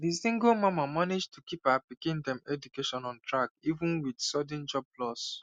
di single mama manage to keep her pikin dem education on track even with sudden job loss